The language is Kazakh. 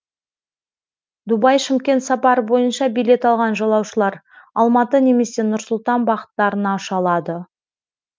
дубай шымкент сапары бойынша билет алған жолаушылар алматы немесе нұр сұлтан бағыттарына ұша алады